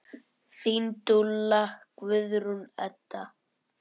Þín dúlla, Guðrún Edda.